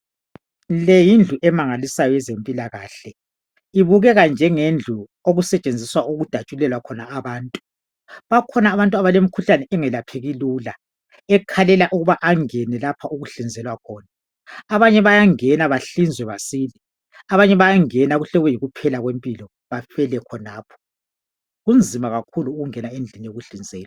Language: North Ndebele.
Le yindlu emangalisayo yezempilakahle ibukeka njengendlu okusetshenzelwa ukudatshulelwa khona abantu bakhona abantu abalemikhuhlane engalapheki lula ekhalela ukuba angena lapha okuhlinzelwa khona abanye bayangena bahlizwe basile abanye bayangena kuhle kube yikuphela kwempilo bafele khonapho kunzima kakhulu ungena endlini yokuhlinzelwa.